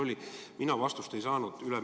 Mina ülemineku kohta vastust ei saanud.